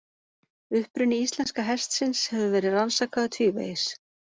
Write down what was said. Uppruni íslenska hestsins hefur verið rannsakaður tvívegis.